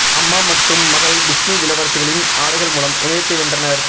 அம்மா மற்றும் மகள் டிஸ்னி இளவரசிகளின் ஆடைகள் மூலம் இணையத்தை வென்றனர்